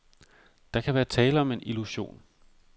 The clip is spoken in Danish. Der kan være tale om en illusion.